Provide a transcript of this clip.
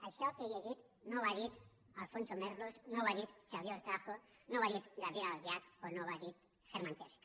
això que he llegit no ho ha dit alfonso merlos no ho ha dit xavier horcajo no ho ha dit gabriel albiac o no ho ha dit hermann tertsch